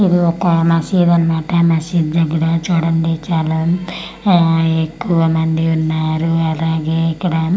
ఇది ఒక మసీద్ అన్నమాట మసీద్ దెగ్గర చూడండి చాలా ఆఆ ఎక్కువ మంది ఉన్నారు అలాగే ఇక్కడ .